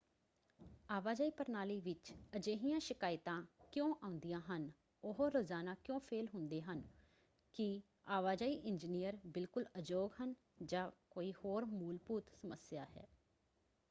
ਆਵਾਜਾਈ ਪ੍ਰਣਾਲੀ ਵਿੱਚ ਅਜਿਹੀਆਂ ਸ਼ਿਕਾਇਤਾ ਕਿਉਂ ਆਉਂਦੀਆਂ ਹਨ ਉਹ ਰੋਜ਼ਾਨਾ ਕਿਉਂ ਫੇਲ੍ਹ ਹੁੰਦੇ ਹਨ? ਕੀ ਆਵਾਜਾਈ ਇੰਜੀਨੀਅਰ ਬਿਲਕੁਲ ਅਯੋਗ ਹਨ? ਜਾਂ ਕੋਈ ਹੋਰ ਮੂਲਭੁਤ ਸਮੱਸਿਆ ਹੈ?